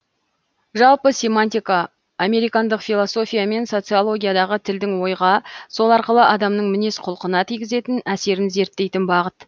жалпы семантика американдық философия мен социологиядағы тілдің ойға сол арқылы адамның мінез құлқына тигізетін әсерін зерттейтін бағыт